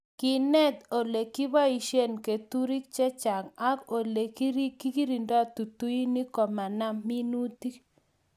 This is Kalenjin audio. Ngenet ole kiboishe keturek chechang' ak ole kikirindoi tutuinik ko maam minutik